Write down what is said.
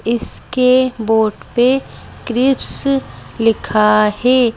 इसके बोर्ड पे क्रिप्स लिखा है।